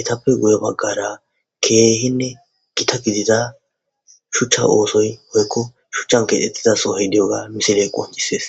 etape guye baggara kehinne gita giddida shucha osoyi woykko shuchan kexetida misile qoncises